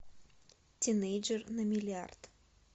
тинейджер на миллиард